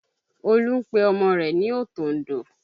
Olú ń pe ọmọ rẹ̀ ní òtòǹdò